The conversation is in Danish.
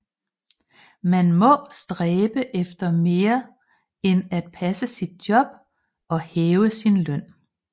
Man må stræbe efter mere end at passe sit job og hæve sin løn